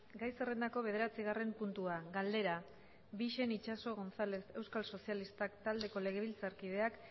gai zerrendako bederatzigarren puntua galdera bixen itxaso gonzález euskal sozialistak taldeko legebiltzarkideak